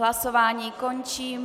Hlasování končím.